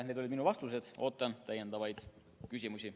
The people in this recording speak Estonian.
Need olid minu vastused, ootan täiendavaid küsimusi.